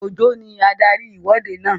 Òjó ní adarí ìwọ́de náà